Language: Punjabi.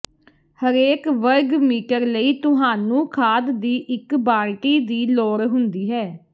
ਹਰੇਕ ਵਰਗ ਮੀਟਰ ਲਈ ਤੁਹਾਨੂੰ ਖਾਦ ਦੀ ਇੱਕ ਬਾਲਟੀ ਦੀ ਲੋੜ ਹੁੰਦੀ ਹੈ